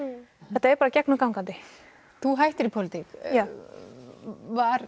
þetta er bara gegnum gangandi þú hættir í pólitík já var